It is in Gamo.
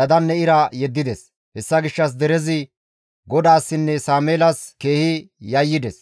dadanne ira yeddides. Hessa gishshas derezi GODAASSINNE Sameelas keehi yayyides.